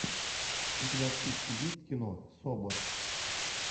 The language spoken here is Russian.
у тебя в списке есть кино собр